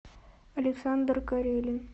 александр карелин